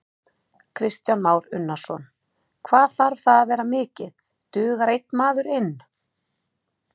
Kristján Már Unnarsson: Hvað þarf það að vera mikið, dugar einn maður inn?